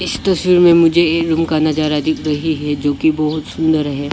इस तस्वीर में मुझे एक रूम का नजारा दिख रही है जो की बहुत सुंदर है।